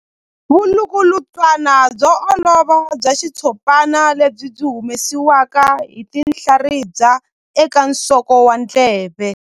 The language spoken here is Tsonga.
Vulukulutswana byo olova bya xitshopana lebyi byi humesiwaka hi tinhlaribya eka nsoko wa ndleve.